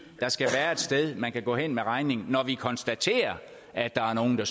der skal være et sted man kan gå hen med regningen når vi konstaterer at der er nogle der